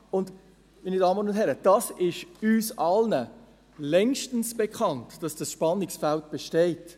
Und, meine Damen und Herren, dass dieses Spannungsfeld besteht, ist uns allen längstens bekannt.